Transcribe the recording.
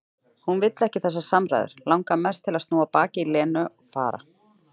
Hún vill ekki þessar samræður, langar mest til að snúa baki í Lenu, fara.